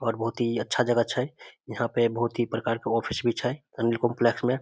और बहुत ही अच्छा जगह छै यहाँ पर बहुत ही प्रकार के ऑफिस भी छै | अनिल काम्प्लेक्स मे |